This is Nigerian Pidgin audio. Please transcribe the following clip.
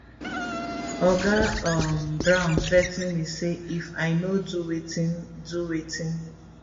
oga um brown threa ten me say if i no do wetin do wetin